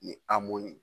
Ni amo ye